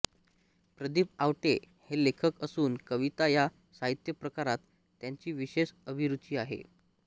प्रदीप आवटे हे लेखक असून कविता या साहित्यप्रकारात त्यांची विशेष अभिरूची आहे